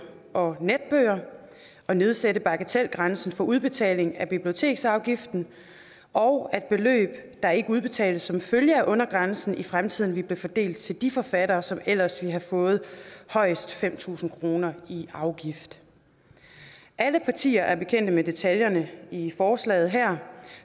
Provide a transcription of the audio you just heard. og netbøger og nedsætte bagatelgrænsen for udbetaling af biblioteksafgiften og at beløb der ikke udbetales som følge af undergrænsen i fremtiden vil blive fordelt til de forfattere som ellers ville have fået højst fem tusind kroner i afgift alle partier er bekendte med detaljerne i forslaget her